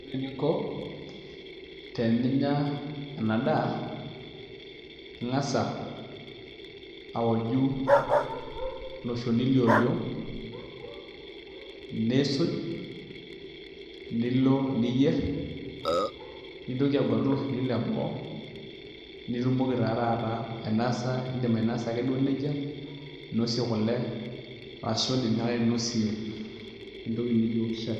Ore eninko teninya ena daa, ingas awoju ilo shoni le oriong ,nisuj nilo niyier nintoki aguatu ilo shoni le boo nitumoki taa taata ainosa ake duo nejia ,ninosie kule aashu indim ake duo ainosie entoki naijo shai.